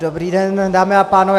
Dobrý den, dámy a pánové.